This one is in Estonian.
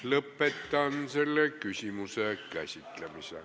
Lõpetan selle küsimuse käsitlemise.